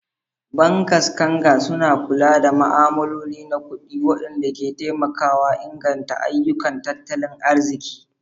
Bankers kanger suna kula da ma'amaloli na kudi, wanda ke taimakawa inganta ayyukan tattalin arziki.